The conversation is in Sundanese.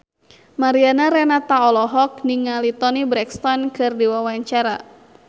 Mariana Renata olohok ningali Toni Brexton keur diwawancara